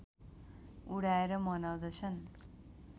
उडाएर मनाउँदछन